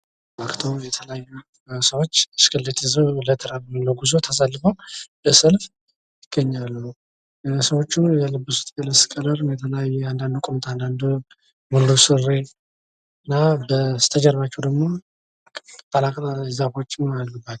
ወደ ዘጠኝ የሚደርሱ ሰዎች ብስክሌት ይዘው ለጉዞ ተሰልፈው ይታያሉ። የለበሱት የልብስ ቀለምም የተለያየ ሲሆን አንዳንዶቹ ቁምጣ አንዳንዶቹ ደግሞ ሙሉ ሱሪ ለብሰዋል።